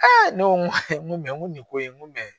ne ko n ko n ko nin ko in n ko